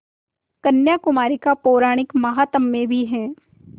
कन्याकुमारी का पौराणिक माहात्म्य भी है